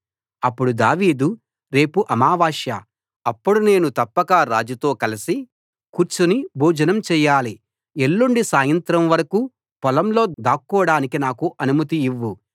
అప్పుడు దావీదు రేపు అమావాస్య అప్పుడు నేను తప్పక రాజుతో కలసి కూర్చుని భోజనం చెయ్యాలి ఎల్లుండి సాయంత్రం వరకూ పొలంలో దాక్కోడానికి నాకు అనుమతి ఇవ్వు